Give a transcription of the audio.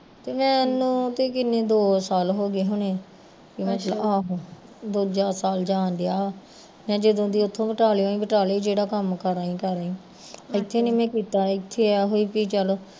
ਤੇ ਮੈਨੂੰ ਤੇ ਕਿੰਨੇ ਦੋ ਸਾਲ ਹੋਗੇ ਹੋਣੇ ਆਹੋ ਦੂਜਾ ਸਾਲ ਜਾਣ ਡਿਆ, ਮੈਂ ਜਦੋਂ ਦੀ ਓਥੋਂ ਬਟਾਲਿਓ ਆਈ, ਬਟਾਲੇ ਹੀਂ ਜਿਹੜਾ ਕੰਮ ਕਰ ਆਈ ਕਰ ਆਈ ਇੱਥੇ ਨੀ ਮੈਂ ਕੀਤਾ ਇੱਥੇ ਏਹ ਸੀ ਵੀ ਚੱਲ